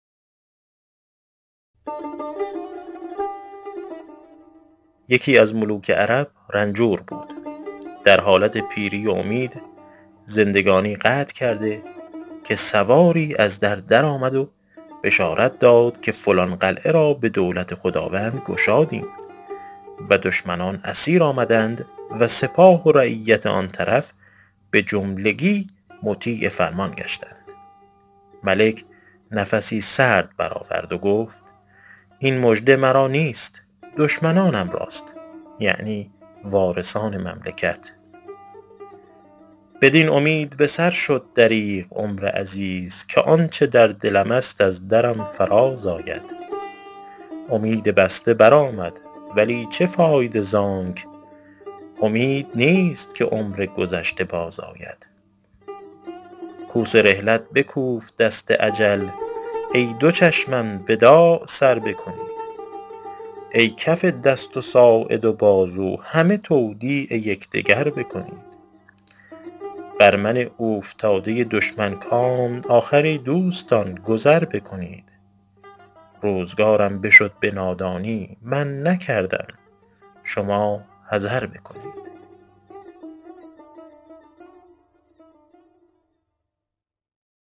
یکی از ملوک عرب رنجور بود در حالت پیری و امید زندگانی قطع کرده که سواری از در درآمد و بشارت داد که فلان قلعه را به دولت خداوند گشادیم و دشمنان اسیر آمدند و سپاه و رعیت آن طرف به جملگی مطیع فرمان گشتند ملک نفسی سرد بر آورد و گفت این مژده مرا نیست دشمنانم راست یعنی وارثان مملکت بدین امید به سر شد دریغ عمر عزیز که آنچه در دلم است از درم فراز آید امید بسته بر آمد ولی چه فایده زانک امید نیست که عمر گذشته باز آید کوس رحلت بکوفت دست اجل ای دو چشمم وداع سر بکنید ای کف دست و ساعد و بازو همه تودیع یکدگر بکنید بر من اوفتاده دشمن کام آخر ای دوستان گذر بکنید روزگارم بشد به نادانی من نکردم شما حذر بکنید